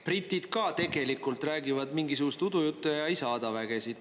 Britid ka tegelikult räägivad mingisugust udujuttu ja ei saada vägesid.